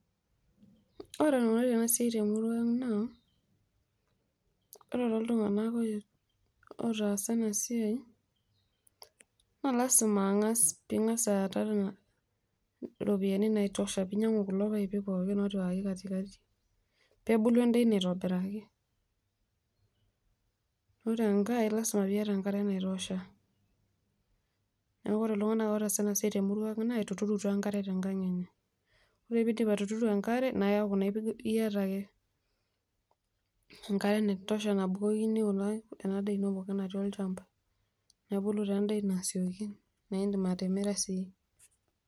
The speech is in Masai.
Oreenikunari enasiai temurua aang naa ore toltunganak otaasa enasia lasima peingasa aaata ropiyiani naitosha ningasa ainyangu kulo paipi pookin pebulu endaa ino aitobiraki, ore enkaeneaku ore ltunganak otaasa enasia naa keret enkang enye, ore peindip atuturo enkare niaku iyata ake enkare naitosha naitodolini endaa eno tolchamba, neaku imdim atimira sii.